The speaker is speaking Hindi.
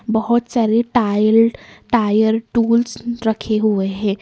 बहुत सारे टायरड टायर टूल्स रखे हुए हैं।